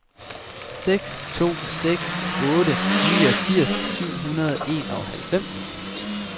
seks to seks otte niogfirs syv hundrede og enoghalvfems